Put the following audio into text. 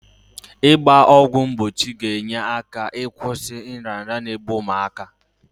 Ị gba ọgwụ mgbochi ga-enye aka ịkwụsị nrịanrịa n'egbu ụmụaka.